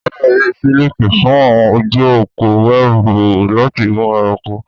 Spiders yí siliki fún àwọn ojú òpó wẹ́ẹ̀bù láti mú ẹranko.